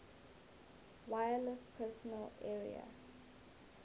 wireless personal area